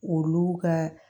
Olu ka